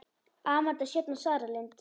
Amanda Sjöfn og Sara Lind.